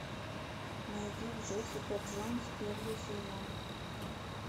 найди джессика джонс первый сезон